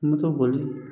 N bɛ to boli